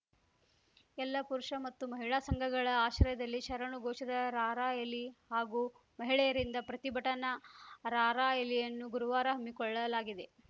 ಎಲ್ಲ ಪುರುಷ ಮತ್ತು ಮಹಿಳಾ ಸಂಘಗಳ ಆಶ್ರಯದಲ್ಲಿ ಶರಣು ಘೋಷದ ರಾರ‍ಯಲಿ ಹಾಗೂ ಮಹಿಳೆಯರಿಂದ ಪ್ರತಿಭಟನಾ ರಾರ‍ಯಲಿಯನ್ನು ಗುರುವಾರ ಹಮ್ಮಿಕೊಳ್ಳಲಾಗಿದೆ